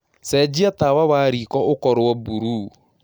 cenjĩa tawa wa rĩko ũkorwo burũũ